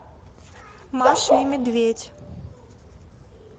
маша и медведь